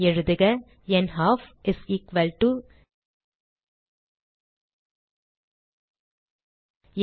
எழுதுக நல்ஃப் n 2 0